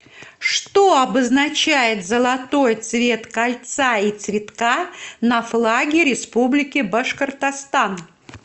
что обозначает золотой цвет кольца и цветка на флаге республики башкортостан